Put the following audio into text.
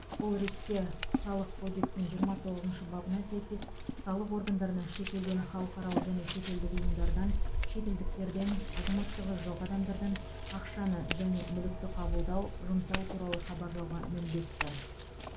бұл ретте салық кодексінің жиырма тоғызыншы бабына сәйкес салық органдарына шетелден халықаралық және шетелдік ұйымдардан шетелдіктерден азаматтығы жоқ адамдардан ақшаны және мүлікті қабылдау жұмсау туралы хабарлауға міндетті